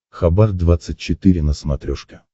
хабар двадцать четыре на смотрешке